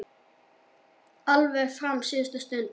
Alveg fram á síðustu stundu.